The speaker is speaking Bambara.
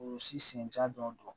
O si senjatɔ